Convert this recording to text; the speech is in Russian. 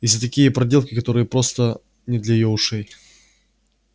и за такие проделки которые просто не для её ушей